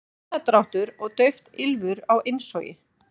Hás andardráttur og dauft ýlfur á innsogi.